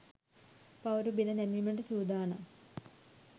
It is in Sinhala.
පවුරු බිඳ දැමීමට සූදානම්